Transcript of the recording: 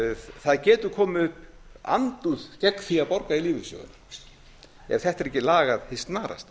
það getur komið upp andúð gegn því að borga í lífeyrissjóðina ef þetta er ekki lagað hið snarasta